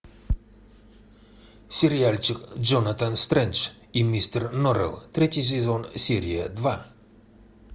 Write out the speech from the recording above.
сериальчик джонатан стрендж и мистер норрелл третий сезон серия два